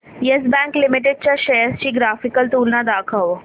yes Bank limited च्या shares ची graphical तुलना दाखव